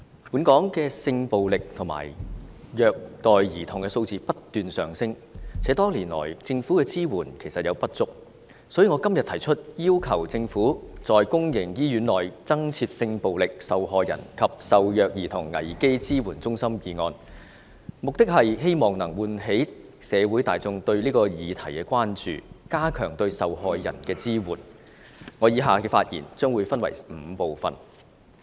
本港性暴力及虐待兒童的數字不斷上升，且多年來，政府的支援有不足之處，所以，我今天提出"要求政府在公營醫院內增設性暴力受害人及受虐兒童危機支援中心"議案，目的是喚起社會大眾對此議題的關注，加強對受害人的支援，我以下的發言將會分為5部分。